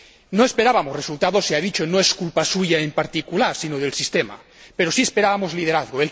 No esperábamos resultados —sea dicho, no es culpa suya en particular, sino del sistema—, pero sí esperábamos liderazgo.